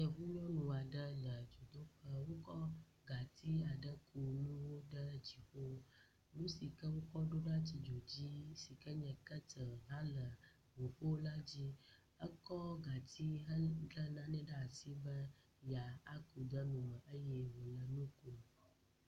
Yevu nyɔnu aɖe le…nu sike woɖona tsi dzo dzi si nye ketel hã la …